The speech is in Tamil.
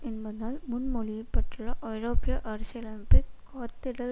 என்பதால் முன்மொழியப்பட்டுள்ள ஐரோப்பிய அரசியலமைப்பை காத்திடல்